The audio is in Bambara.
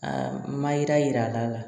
A ma yira yira la